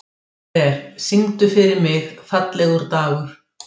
Ver, syngdu fyrir mig „Fallegur dagur“.